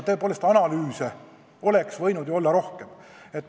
Tõepoolest, analüüse oleks võinud olla rohkem.